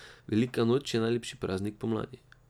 Velika noč je najlepši praznik pomladi!